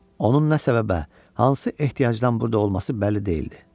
Onun nə səbəbə, hansı ehtiyacdan burda olması bəlli deyildi.